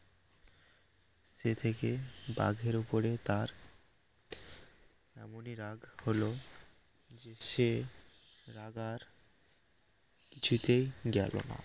সে থেকে বাঘের ওপরে তার এমনি রাগ হল যে সে রাগ আর কিছুতেই গেল না